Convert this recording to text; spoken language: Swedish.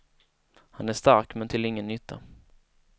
Han är stark, men till ingen nytta.